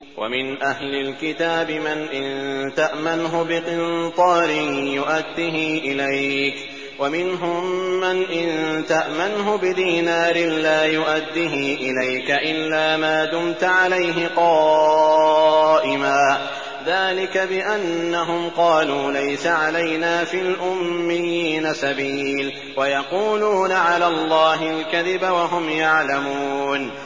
۞ وَمِنْ أَهْلِ الْكِتَابِ مَنْ إِن تَأْمَنْهُ بِقِنطَارٍ يُؤَدِّهِ إِلَيْكَ وَمِنْهُم مَّنْ إِن تَأْمَنْهُ بِدِينَارٍ لَّا يُؤَدِّهِ إِلَيْكَ إِلَّا مَا دُمْتَ عَلَيْهِ قَائِمًا ۗ ذَٰلِكَ بِأَنَّهُمْ قَالُوا لَيْسَ عَلَيْنَا فِي الْأُمِّيِّينَ سَبِيلٌ وَيَقُولُونَ عَلَى اللَّهِ الْكَذِبَ وَهُمْ يَعْلَمُونَ